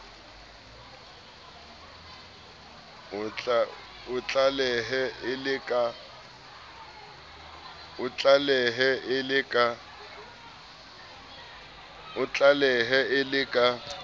o atlehe e le ka